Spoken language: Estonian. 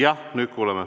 Jah, nüüd kuuleme.